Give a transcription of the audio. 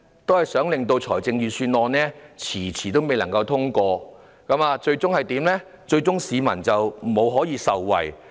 就是令預算案遲遲未能獲得通過，結果令市民無法盡早受惠。